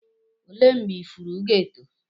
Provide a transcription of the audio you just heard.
olee mgbe ifuru ga-eto?